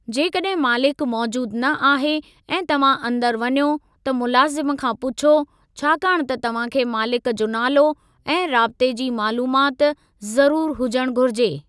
जेकॾहिं मालिकु मौजूदु न आहे, ऐं तव्हां अंदरि वञो, त मुलाज़िम खां पुछो, छाकाणि त तव्हां खे मालिक जो नालो ऐं राबते जी मालूमात ज़रूरु हुजणु घुर्जे।